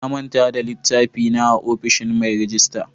Na manta da littafi na a ofishin mai rejista.